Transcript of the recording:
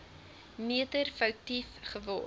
meter foutief geword